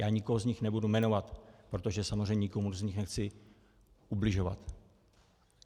Já nikoho z nich nebudu jmenovat, protože samozřejmě nikomu z nich nechci ubližovat.